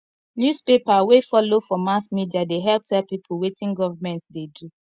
newspaper wey folo for mass media dey help tell pipo wetin government dey do